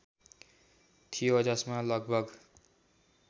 थियो जसमा लगभग